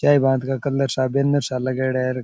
Banner सा लगायेडा है।